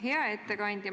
Hea ettekandja!